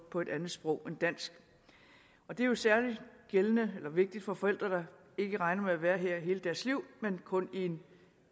på et andet sprog end dansk det er jo særlig vigtigt for forældre der ikke regner med at være her hele deres liv men kun i en